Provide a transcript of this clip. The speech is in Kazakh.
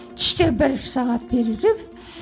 түсте бір сағат перерыв